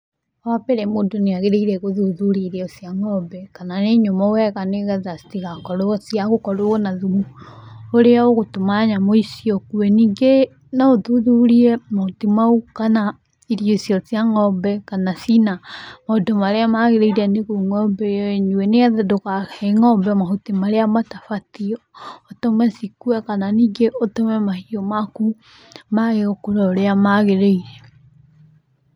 Wambere mũndũ nĩagĩrĩire gũthuthuria irio cia ngombe, kana nĩ nyũmũ wega, nĩgetha citigakorwo ciagũkorwo na thumu, ũrĩa ũgũtũma nyamũ icio ikue, ningĩ no ũthuthurie mahuti mau, kana irio icio cia ngombe kana cina maũndũ marĩa magĩrĩire nĩguo ngombe ĩyo ĩnyue, nĩgetha ndũkahe ngombe mahuti marĩa matabatiĩ, ũtume cikue kana ningĩ ũtũme mahiũ maku mage gũkũrũ ũrĩa magĩrĩire.